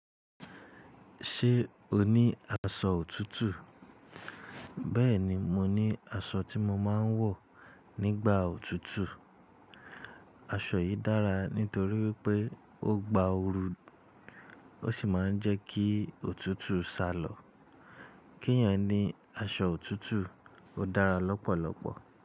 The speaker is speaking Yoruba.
Ṣé o ní aṣọ òtútù? Bẹ́ẹ̀ni, mo ní aṣọ tí mo máa ń wọ̀ nígbà òtútù. Aṣọ yìí dára nítorí pé ó gba ooru, ó sì máa ń jẹ́ kí òtútù sá lọ. Kí ẹ̀yan ní aṣọ òtútù ó dára lọ́pọ̀lọpọ̀.